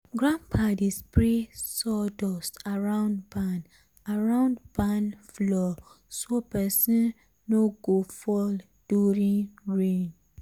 grandpa dey spray sawdust around barn around barn floor so person no go fall during rain.